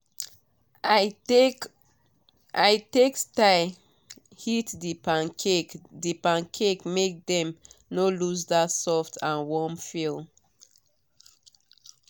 i take style heat the pancakes the pancakes make dem no lose that soft and warm feel.